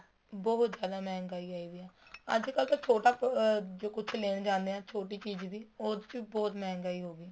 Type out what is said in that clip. ਬਹੁਤ ਜਿਆਦਾ ਮਹਿੰਗਾਈ ਆਈ ਪਈ ਹੈ ਅੱਜ ਕੱਲ ਤਾਂ ਛੋਟਾ ਅਹ ਕੁੱਛ ਲੈਣ ਜਾਂਦੇ ਹਾਂ ਛੋਟੀ ਚੀਜ਼ ਵੀ ਉਹਦੇ ਚ ਵੀ ਬਹੁਤ ਮਹਿੰਗਾਈ ਹੋਗੀ